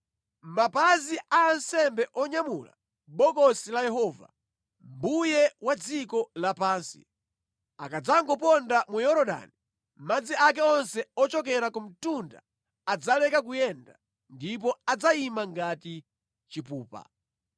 Mapazi a ansembe onyamula Bokosi la Yehova, Mbuye wa dziko lapansi, akadzangoponda mu Yorodani, madzi ake onse ochokera ku mtunda adzaleka kuyenda ndipo adzayima ngati chipupa.”